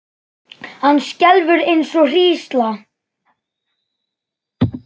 Hann skelfur eins og hrísla.